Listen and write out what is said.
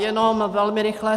Jenom velmi rychle.